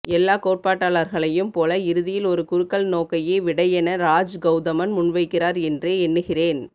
எல்லா கோட்பாட்டாளர்களையும் போல இறுதியில் ஒரு குறுக்கல் நோக்கையே விடையென ராஜ் கௌதமன் முன்வைக்கிறார் என்றே எண்ணுகிறேன்